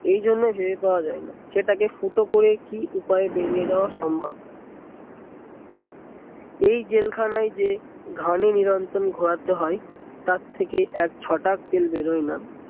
এই জন্য যায় না সেটা কে ফুটো করে কি উপায়ে বেরিয়ে যাওয়া সম্ভব এই জেলখানায় যে ঘানি নিরন্তন ঘোরাতে হয় তার থেকে এক ছটাক তেল বেরোয় না